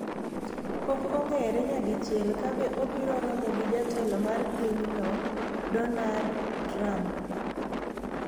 pok ong'ere nyadichiel ka be obiro romo gi jatelo mar pinyno Dornard Trump